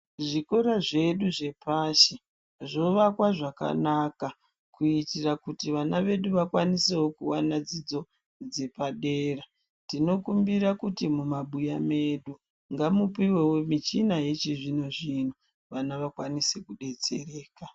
Zvikora zvedu zvepashi zvovakwa zvakanaka kuitira kuti vana vedu vakwanise wo kuwana dzidzo dzepadera tinokumbira kuti mumabuya mwedu ngamupuwewo muchini yechizvino zvino vana vakwanise kudetsereka.